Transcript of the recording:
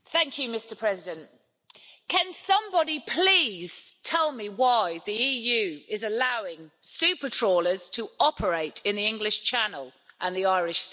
Mr President, can somebody please tell me why the EU is allowing super trawlers to operate in the English Channel and the Irish Sea?